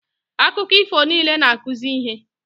Akụkọ ifo niile na-akụzi ihe